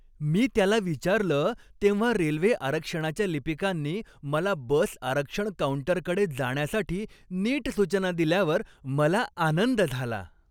मी त्याला विचारलं तेव्हा रेल्वे आरक्षणाच्या लिपिकांनी मला बस आरक्षण काऊंटरकडे जाण्यासाठी नीट सूचना दिल्यावर मला आनंद झाला.